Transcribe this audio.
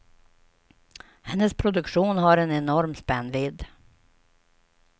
Hennes produktion har en enorm spännvidd.